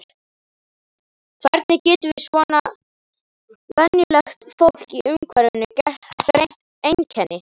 Hvernig getum við svona venjulegt fólk í umhverfinu greint einkenni?